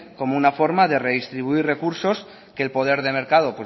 como una forma de redistribuir recursos que el poder de mercado